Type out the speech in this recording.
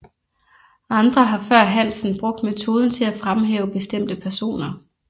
Andre har før Hansen brugt metoden til at fremhæve bestemte personer